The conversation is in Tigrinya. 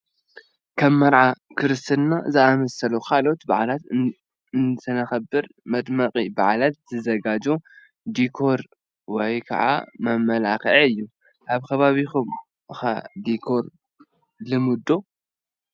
ከም መርዓ፣ ክርስትናን ዝኣመሰሉ ካልኦት በዓላትን እንትነኽብር መድመቂ በዓል ዝዘጋጆ ዲኮር ወይ ከዓ መመላኽዒ እዩ፡፡ ኣብ ከባቢኹም ኸ ዲኮር ልሙድ ዶ?